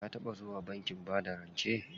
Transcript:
Ka taɓa zuwa bankin bada rance?